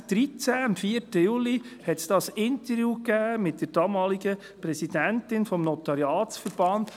Am 4. Juli 2013 gab es ein Interview mit der damaligen Präsidentin des Notariatsverbands.